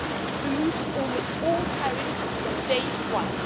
It removes almost all tariffs from day one.